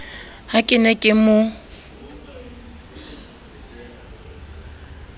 ha ke ne ke mo